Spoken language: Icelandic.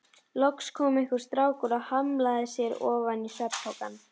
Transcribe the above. Loks kom einhver strákur og hlammaði sér ofan á svefnpokann.